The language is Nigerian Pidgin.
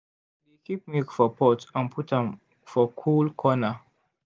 i dey keep milk for pot and put am for cool corner.